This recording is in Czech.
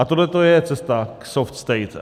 A tohleto je cesta k soft state.